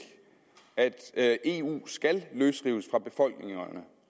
at at eu skal løsrives fra befolkningerne